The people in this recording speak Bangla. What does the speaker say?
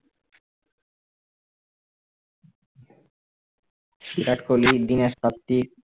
বিরাট কোহলি দীনেশ কার্তিক